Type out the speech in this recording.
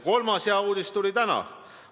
Kolmas hea uudis tuli täna.